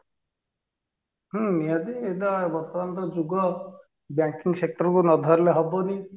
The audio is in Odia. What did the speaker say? ହୁଁ ନିହାତି ଏଇଟା ବର୍ତମାନ ର ଯୁଗ banking sector କୁ ନ ଧରିଲେ ହବନି